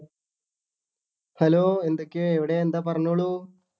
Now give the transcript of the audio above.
Hello എന്തൊക്കെയാ എവിടെയാ എന്താ പറഞ്ഞോളൂ.